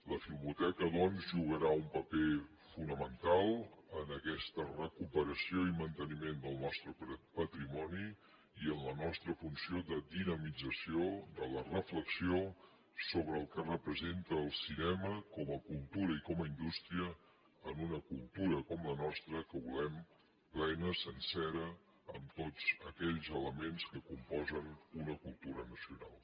la filmoteca doncs jugarà un paper fonamental en aquesta recuperació i manteniment del nostre patrimoni i en la nostra funció de dinamització de la reflexió sobre el que representa el cinema com a cultura i com a indústria en una cultura com la nostra que volem plena sencera amb tots aquells elements que componen una cultura nacional